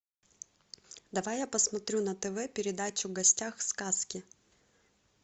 давай я посмотрю на тв передачу в гостях у сказки